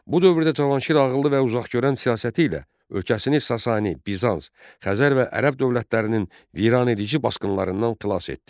Bu dövrdə Cavanşir ağıllı və uzaqgörən siyasəti ilə ölkəsini Sasani, Bizans, Xəzər və Ərəb dövlətlərinin viranedici basqınlarından qilas etdi.